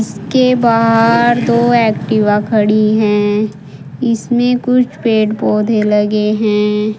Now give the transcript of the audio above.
उसके बाहर दो एक्टिवा खड़ी हैं इसमें कुछ पेड़ पौधे लगे हैं।